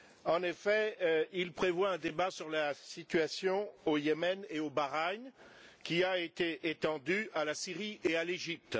En effet, il prévoit un débat sur la situation au Yémen et au Bahreïn, qui a été étendu à la Syrie et à l'Égypte.